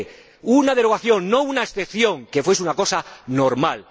20 una derogación, no una excepción que fuese una cosa normal.